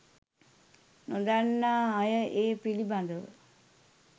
නොදන්නා අය ඒ පිළිබඳව